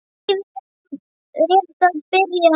Lífið er rétt að byrja.